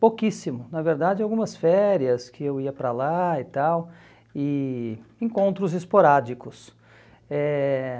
Pouquíssimo, na verdade algumas férias que eu ia para lá e tal, e encontros esporádicos. Eh